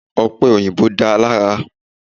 Ọ̀pẹ̀ òyìbó dáa lára.